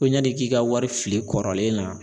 Ko yanni k'i ka wari fili kɔrɔlen na